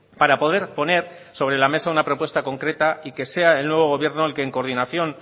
para poder poner sobre la mesa una propuesta concreta y que sea el nuevo gobierno el que en coordinación